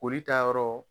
Boli ta yɔrɔ